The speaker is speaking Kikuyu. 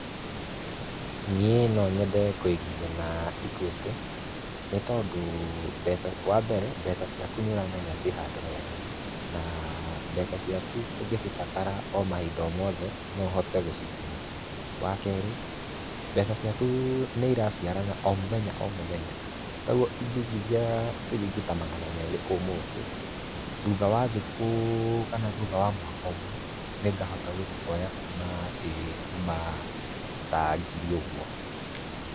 Niĩ no nyende kũigithia na Equity, nĩ tondũ, wa mbere mbeca ciaku nĩ ũramenya ci handũ hega. Na mbeca ciaku ũngĩcibatara o mahinda o mothe, no ũhote gũcikinyĩra. Wa kerĩ mbeca ciaku nĩ ĩraciarana o mũthenya, o mũthenya. Ta rĩu ĩngĩigithia ciringi ta magana merĩ ũmũthĩ thutha wa thikũ kana, thutha wa mwaka ũmwe nĩ ngahota gũthiĩ kuoya kuma ciĩ kuma ta ngiri ũguo.